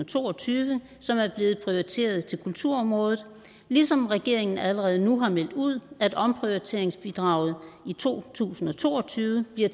to og tyve som er blevet prioriteret til kulturområdet ligesom regeringen allerede nu har meldt ud at omprioriteringsbidraget i to tusind og to og tyve bliver